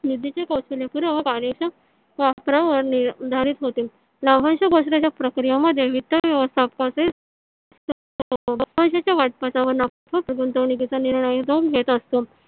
निधीच्या कौशल्यपूर्व व कार्यक्षम वापरावर निर्धारित होते. लाभांश प्रक्रियामध्ये वित्त व्यवस्थापन गुंतवणुकीचा निर्णय घेत असतो.